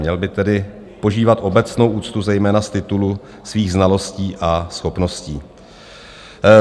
Měl by tedy požívat obecné úcty, zejména z titulu svých znalostí a schopností.